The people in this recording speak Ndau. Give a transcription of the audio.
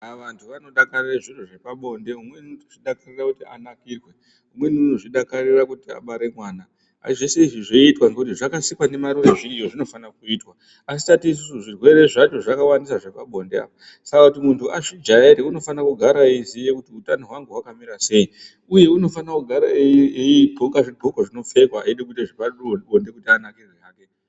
Vantu vanodakarire zviro zvepabonde umweni unodakarira kuti anakirwe. Umweni unodakarira kuti abare mwana, asi zvese izvi zvoitwa ngekuti zvakasikwa ndimarure zviriyo zvinofana kuitwa. Asi tati isusu zvirwere zvacho zvakawanda zvepabonde apo. Saka kuti muntu azvijaire unofana kugara eiziya kuti utanohwangu hwakamira sei, uye anofana kugara eidhloko zvidholoka zvinopfekwa eida kuita zvepabonde kuti anakirwe hake.